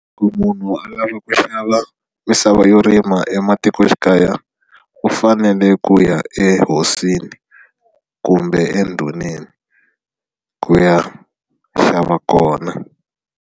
Ku munhu a lava ku xava misava yo rima ematikoxikaya u fanele ku ya ehosini kumbe endhuneni ku ya xava kona.